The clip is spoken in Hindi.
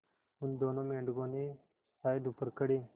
उन दोनों मेढकों ने शायद ऊपर खड़े